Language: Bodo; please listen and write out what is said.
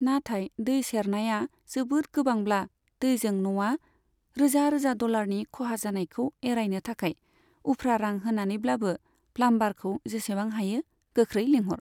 नाथाय दै सेरनाया जोबोद गोबांब्ला, दैजों न'आ रोजा रोजा डलारनि खहा जानायखौ एरायनो थाखाय, उफ्रा रां होनानैब्लाबो प्लाम्बारखौ जेसेबां हायो गोख्रै लेंहर।